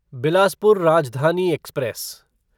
Bilaspur Rajdhani express